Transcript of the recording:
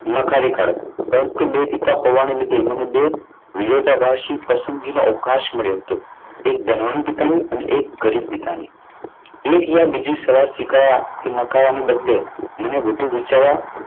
નકારી કાઢત. પરંતુ બે પિતા હોવાને લીધે મને બે વિરોધાભાસી પસંદગીનો અવકાશ મળ્યો હતો. તે એક ધનવાન પિતાની અને એક ગરીબ પિતાની એક યા બીજી સલાહ સ્વીકારવા નકારવાની બદલે મને વધુ વિચારવા.